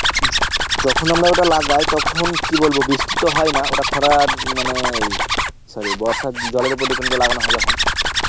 যখন আমরা ওটা লাগাই তখন কি বলবো বৃষ্টিতো হয়না ওটা খোলার মানে sorry বর্ষার জলের ওপর depend করে লাগানো হয় যখন